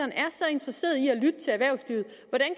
interesseret